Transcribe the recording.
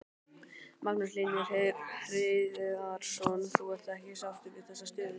Magnús Hlynur Hreiðarsson: Þú ert ekki sáttur við þessa stöðu?